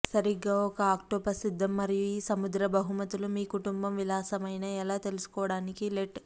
సరిగ్గా ఒక ఆక్టోపస్ సిద్ధం మరియు ఈ సముద్ర బహుమతులు మీ కుటుంబం విలాసమైన ఎలా తెలుసుకోవడానికి లెట్